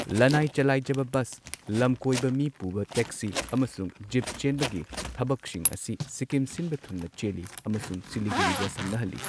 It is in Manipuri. ꯂꯅꯥꯏ ꯆꯂꯥꯏꯖꯕ ꯕꯁ, ꯂꯝꯀꯣꯏꯕ ꯃꯤ ꯄꯨꯕ ꯇꯦꯛꯁꯤ ꯑꯃꯁꯨꯡ ꯖꯤꯞ ꯆꯦꯟꯕꯒꯤ ꯊꯕꯛꯁꯤꯡ ꯑꯁꯤ ꯁꯤꯛꯀꯤꯝ ꯁꯤꯟꯕ ꯊꯨꯡꯅ ꯆꯦꯜꯂꯤ ꯑꯃꯁꯨꯡ ꯁꯤꯂꯤꯒꯨꯔꯤꯒꯁꯝꯅꯍꯜꯂꯤ꯫